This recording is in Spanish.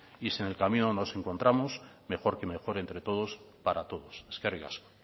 y si en el camino nos encontramos mejor que mejor entre todos para todos eskerrik asko